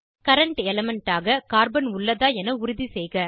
current element ஆக carbon உள்ளதா என உறுதி செய்க